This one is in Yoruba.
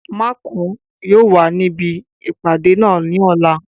Makun yóò wà níbi ìpàdé náà ní ọ̀la